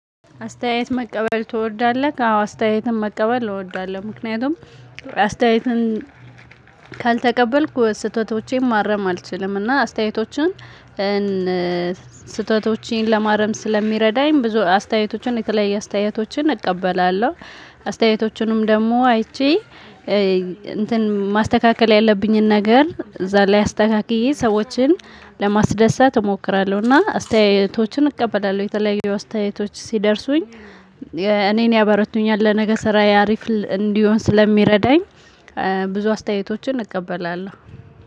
አስተያየት መቀበል ትወዳለህ? አዎ አስተያየትን መቀበል እወዳለሁ ምክንያቱም አስተያየትን ካልተቀበልኩ ስህተቶቼን ማረም አልችልም እና አስተያየቶችን ስህተቶቼን ለማረም ስለሚረዳኝ ብዙ አስተያየቶችን የተለያየ አስተያየቶችን እቀበላለሁ። አስተያየቶችንም ደግሞ አይቼ እንትን ማስተካከል ያለብኝን ነገር እዛ ላይ አስተካክዬ ሰዎችን ለማስደሰት እሞክራለሁ። እና አስተያየቶችን እቀበላለሁ የተለያዩ አስተያየቶች ሲደርሱኝ እኔን ያበረቱኛል። ለነገ ስራ አሪፍ እንዲሆን ስለሚረዳኝ ብዙ አስተያየቶችን እንቀበላለሁ።